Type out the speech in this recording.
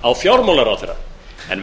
á fjármálaráðherra en